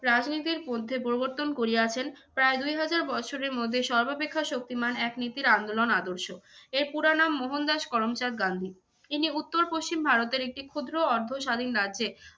রাজনীতির পরিবর্তন করিয়াছেন। প্রায় দুই হাজার বছরের মধ্যে সর্বাপেক্ষা শক্তিমান এক নীতির আন্দোলন আদর্শ। এর পুরা নাম মোহনদাস করমচাঁদ গান্ধী। ইনি উত্তর-পশ্চিম ভারতের একটি ক্ষুদ্র অর্ধ স্বাধীন রাজ্যে